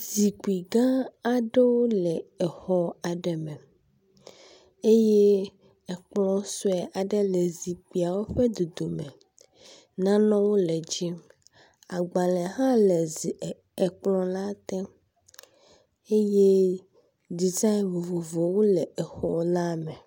Zikpui gã aɖewo le exɔ aɖe me eye ekplɔ sue aɖe le zikpiawo ƒe dodome. Nanewo le dzi. agbala hã le zi e ekplɔ la te eye dezani vovovowo le exɔ la me.